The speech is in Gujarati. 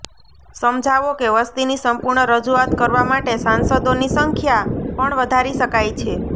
સમજાવો કે વસ્તીની સંપૂર્ણ રજૂઆત કરવા માટે સાંસદોની સંખ્યા પણ વધારી શકાય છે